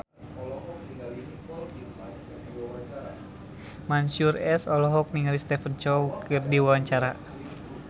Mansyur S olohok ningali Stephen Chow keur diwawancara